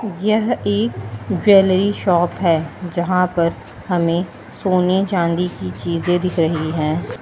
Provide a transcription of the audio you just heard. यह एक jewellery shop है यहां पर हमें सोने चांदी की चीजें दिख रही हैं।